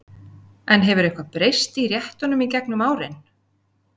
En hefur eitthvað breyst í réttunum í gegnum árin?